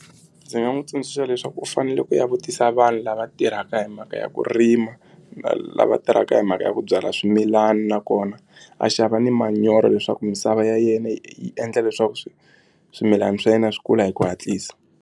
Ndzi nga n'wi tsundzuxa leswaku u fanele ku ya vutisa vanhu lava tirhaka hi mhaka ya ku rima na lava tirhaka hi mhaka ya ku byala swimilana nakona a xava ni manyoro leswaku misava ya yena yi endla leswaku swi swimilana swa yena swi kula hi ku hatlisa.